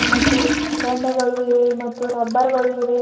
ಮತ್ತು ಎಣ್ಣೆಗಳು ಇವೆ ಮತ್ತು ರಬ್ಬರ್ ಗಳು ಇವೆ.